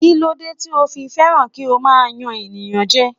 Kí ló dé tí o fi fẹ́ràn kí o máa yan ènìyàn jẹ?